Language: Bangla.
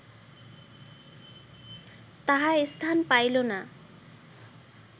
তাহা স্থান পাইল না